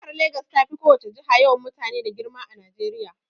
Jihar Legas tafi ko wace jiha yawan mutane da girma a Najeriya.